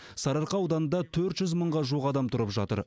сарыарқа ауданында төрт жүз мыңға жуық адам тұрып жатыр